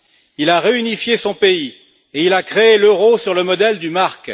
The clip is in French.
Il a réunifié son pays et a créé l'euro sur le modèle du mark.